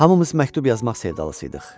Hamımız məktub yazmaq sevdalısıydıq.